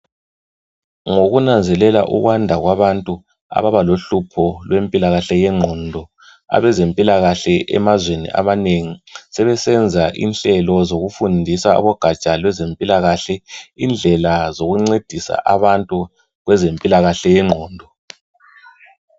Ngokunanzelela ukwanda kwabantu ababa lohlupho lwempilakahle yengqondo abezempilakahle emazweni amanengi sebesenza inhlelo zokufundisa abogatsha lwezempilakahle indlela zokuncedisa abantu kwezempilakahle yengqondo